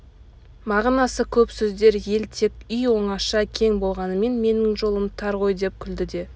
мағынасы көп сөздер ал тек үй оңаша кең болғанмен менің жолым тар ғой деп күлді де